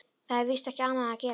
Það er víst ekki annað að gera.